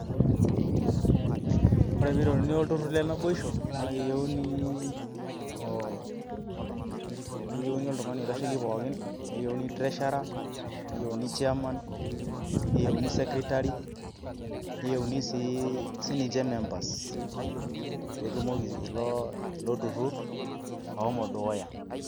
Ore piteruni olturrur le naboisho, na keyieuni, keyieuni oltung'ani oitasheki pookin, keyieuni treasurer, neyieuni chairman, neyieuni secretary, neyieuni si sininche members ,petumoki ilo turrurr ashomo dukuya.